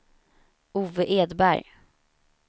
Ove Edberg